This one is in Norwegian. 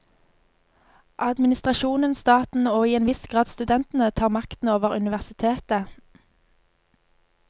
Administrasjonen, staten og i en viss grad studentene tar makten over universitetet.